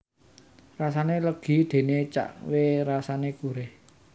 Rasane legi dene cahkwe rasane gurih